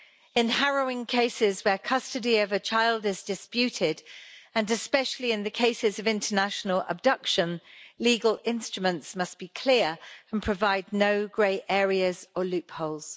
In harrowing cases where custody of a child is disputed, and especially in the cases of international abduction, legal instruments must be clear and provide no grey areas or loopholes.